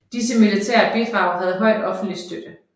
Disse militære bidrag havde høj offentlig støtte